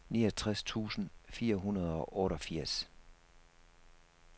niogtres tusind fire hundrede og otteogfirs